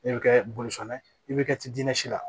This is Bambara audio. E bɛ kɛ bolifɛn ye i bɛ kɛ dinɛsi la